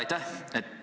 Aitäh!